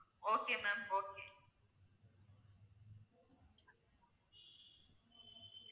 Okay ma'am okay